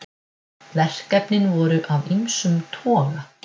Verkefnin voru af ýmsum toga